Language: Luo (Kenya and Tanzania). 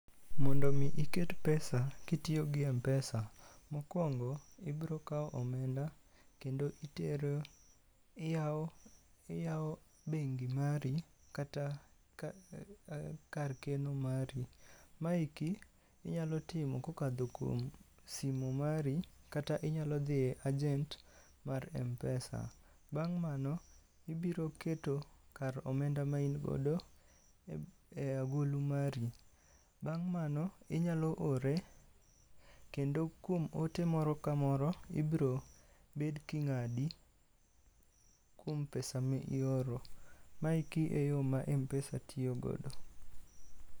Mondo mi iket pesa kitiyo gi M-pesa, mokwongo ibrokawo omenda kendo itero. Iyawo, iyawo bengi mari kata ka kar keno mari. Maeki inyalo timo kokadho kuom simo mari kata inyalo dhie ajent mar Mpesa. Bang' mano, ibiroketo kar omenda ma in godo e agulu mari. Bang' mano inyalo ore, kendo kuom ote moro ka moro ibro bed king'adi kuom pesa mi ioro. Maeki e yo ma Mpesa tiyogodo.